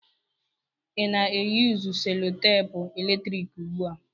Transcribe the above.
Ị na-eyusu selutepu eletrik ugbu a?